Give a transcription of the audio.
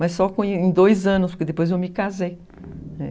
Mas só em dois anos, porque depois eu me casei.